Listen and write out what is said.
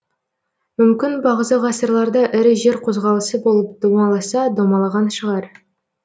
мүмкін бағзы ғасырларда ірі жер қозғалысы болып домаласа домалаған шығар